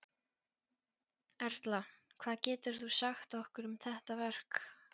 Erla hvað getur þú sagt okkur um þetta verk?